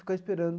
Ficou esperando.